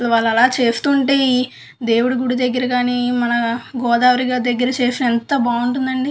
వాళ్ళు అలా చేస్తుంటే ఈ దేవుడి గుడి దగ్గర కానీ మన గోదావరి గా దగ్గర చేస్తే ఎంత బాగుంటుంది.